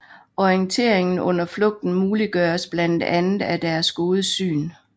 Orienteringen under flugten muliggøres blandt andet af deres gode syn